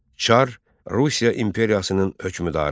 Çar Rusiya İmperiyasının hökümdarı.